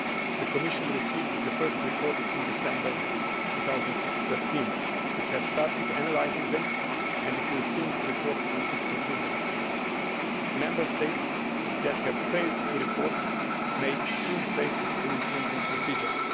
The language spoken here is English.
The Commission received the first reports in December 2013. It has started analysing them and it will soon report on its conclusions. Member States who have failed to report may soon face infringement procedures.